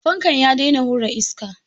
Fankan ya daina hura iska.